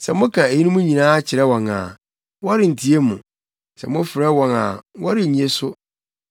“Sɛ moka eyinom nyinaa kyerɛ wɔn a, wɔrentie mo; sɛ mofrɛ wɔn a wɔrennye so.